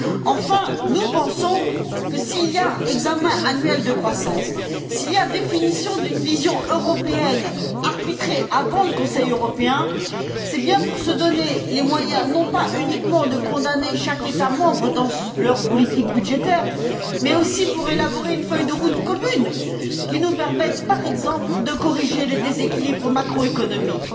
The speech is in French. Enfin, nous pensons que, s'il y a examen annuel de croissance, s'il y a définition d'une vision européenne arbitrée avant le Conseil européen, c'est bien pour se donner les moyens, non pas uniquement de condamner chaque État membre dans sa politique budgétaire, mais aussi pour élaborer une feuille de route commune, qui nous permette, par exemple, de corriger les déséquilibres macroéconomiques.